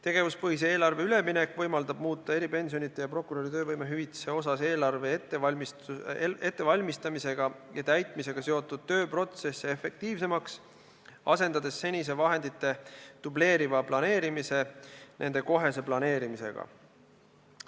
Tegevuspõhisele eelarvele üleminek võimaldab muuta eelarve ettevalmistamisega ja täitmisega seotud tööprotsesse eripensionide ja prokuröri töövõimehüvitisega seoses efektiivsemaks, asendades senise vahendite dubleeriva planeerimise nende kohese planeerimisega.